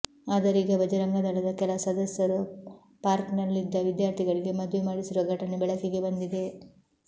ಆದರೀಗ ಭಜರಂಗದಳದ ಕೆಲ ಸದಸ್ಯರು ಪಾರ್ಕ್ನಲ್ಲಿದ್ದ ವಿದ್ಯಾರ್ಥಿಗಳಿಗೆ ಮದುವೆ ಮಾಡಿಸಿರುವ ಘಟನೆ ಬೆಳಕಿಗೆ ಬಂದಿದೆ